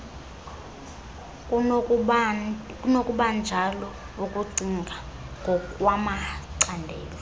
kunokubanjalo ukucinga ngokwamacandelo